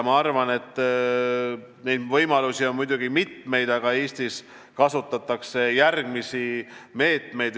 Ma arvan, et neid võimalusi on muidugi mitmeid, aga Eestis kasutatakse järgmisi meetmeid.